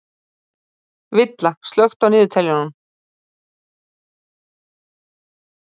Villa, slökktu á niðurteljaranum.